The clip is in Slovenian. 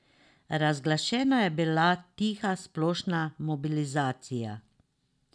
Razglašena je bila tiha splošna mobilizacija.